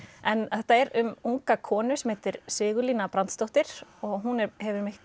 en þetta er um unga konu sem heitir Sigurlína Brandsdóttir og hún hefur